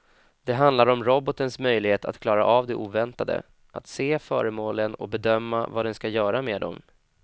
Det handlar om robotens möjlighet att klara av det oväntade, att se föremålen och bedöma vad den ska göra med dem.